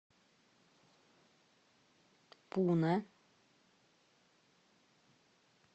пуна